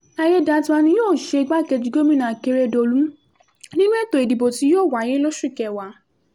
àyédètiwa ni yóò ṣe igbákejì gómìnà akérèdọ́lù nínú ètò ìdìbò tí yóò wáyé lóṣù kẹwàá